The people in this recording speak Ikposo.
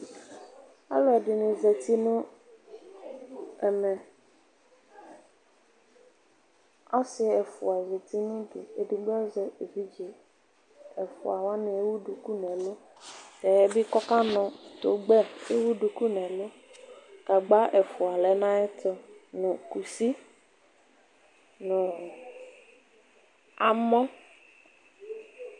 Alʋ ɛdɩnɩ zati nʋ ɛmɛ Ɔsɩ ɛfʋa zati nʋ udu edigbo azɛ evidze Ɛfʋa wanɩ ewu duku nʋ ɛlʋ Tɛɛ bɩ kʋ ɔkanʋ tʋgbɛ ewu duku nʋ ɛlʋ Gagba ɛfʋa lɛ nʋ ayɛtʋ nʋ kusi nʋ amɔ